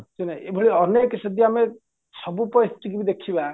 ଶୁଣେ ଏଇଭଳି ଅନେକ ଯଦି ଆମେ ସବୁ ପରିସ୍ଥିତି ଦେଖିବା